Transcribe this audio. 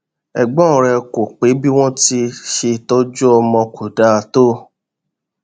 ẹgbọn rẹ kọ pé bí wọn ṣe tọjú ọmọ kó dáa tó